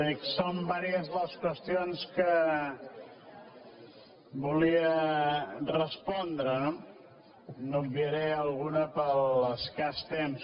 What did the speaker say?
dic són diverses les qüestions que volia respondre no n’obviaré alguna per l’escàs temps